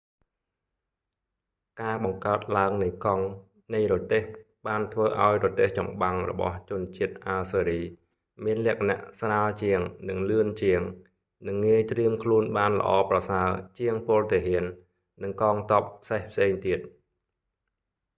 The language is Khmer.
ការបង្កើតឡើងនៃកង់នៃរទេះ បានធ្វើឲ្យរទេះចំបាំងរបស់ជនជាតិអាស៊ើរី assyrian មានលក្ខណៈស្រាលជាងនិងលឿនជាង និងងាយត្រៀមខ្លួនបានល្អប្រសើរជាងពលទាហាន និងកងទ័ពសេះផ្សេងទៀត។